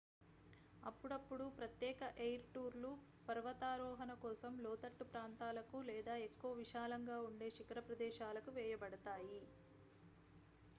అప్పుడప్పుడూ ప్రత్యేక ఎయిర్ టూర్లు పర్వతారోహణ కోసం లోతట్టు ప్రాంతాలకు లేదా ఎక్కువ విశాలంగా ఉండే శిఖర ప్రదేశాలకు వేయబడతాయి